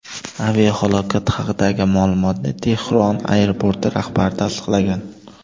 Aviahalokat haqidagi ma’lumotni Tehron aeroporti rahbari tasdiqlagan.